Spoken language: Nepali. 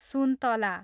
सुन्तला